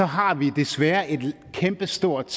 har vi desværre et kæmpe stort